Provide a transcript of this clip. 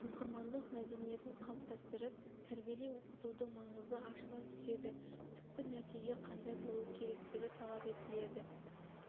оқырмандық мәдениетін қалыптастырып тәрбиелей оқытудың маңызы ашыла түседі түпкі нәтиже қандай болу керектігі талап етіледі